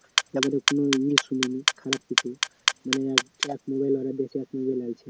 ইয়ে শুনিনি খারাপ কিছু mobile order দিয়ে mobile ই